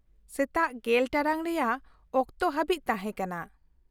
-ᱥᱮᱛᱟᱜ ᱜᱮᱞ ᱴᱟᱲᱟᱝ ᱨᱮᱭᱟᱜ ᱚᱠᱛᱚ ᱦᱟᱵᱤᱡ ᱛᱟᱦᱮᱸ ᱠᱟᱱᱟ ᱾